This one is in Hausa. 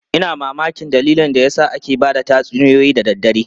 Ina mamakin dalilin da yasa ake ba da tatsuniyoyi da daddare.